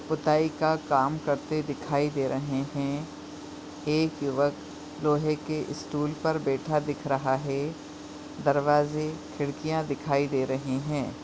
सुताई का काम करते दिखाई दे रहे है एक युवक लोहे के इस स्टूल पर बैठा दिख रहा है दरवाजे खिड़किया दिखाई दे रही है।